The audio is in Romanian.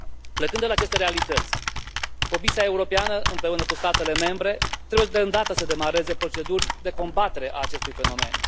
Plecând de la aceste realități, Comisia Europeană împreună cu statele membre trebuie de îndată să demareze proceduri de combatere a acestui fenomen.